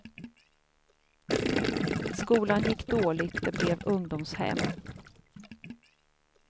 Skolan gick dåligt, det blev ungdomshem.